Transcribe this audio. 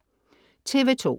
TV2: